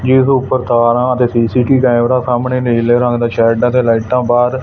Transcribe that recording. ਜਿਸ ਦੇ ਉੱਪਰ ਤਾਰਾਂ ਤੇ ਸੀ_ਸੀ_ਟੀ ਕੈਮਰਾ ਸਾਹਮਣੇ ਨੀਲੇ ਰੰਗ ਦਾ ਸ਼ੈਡ ਹੈ ਤੇ ਲਾਈਟਾਂ ਬਾਅਦ--